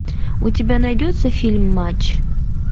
у тебя найдется фильм матч